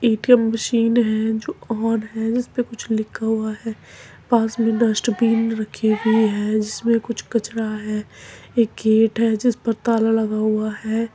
ATM machine है जो on है उसपे कुछ लिखा हुआ है पास में डस्टबिन रखी हुई है | जिस में कुछ कचरा है एक गेट है जिस पर ताला लगा हुआ है।